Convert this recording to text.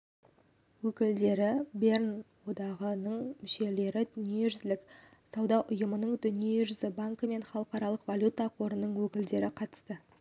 өкілдері берн одағының мүшелері дүниежүзілік сауда ұйымының дүниежүзі банкі мен халықаралық валюта қорының өкілдері қатысты